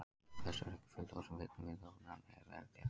Orsök þess er ekki fullljós en fylgni við ofnæmi er vel þekkt.